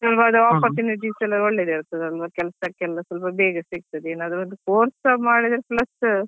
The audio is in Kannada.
ಇವಾಗ opportunities ಒಳ್ಳೇದ್ ಇರ್ತದಲ್ವ ಕೆಲ್ಸಕ್ಕೆಲ್ಲಸ ಬೇಗ ಸಿಕ್ತದೆ ಏನಾದ್ರು ಒಂದು course ಸಾ ಮಾಡಿದ್ರೆ plus.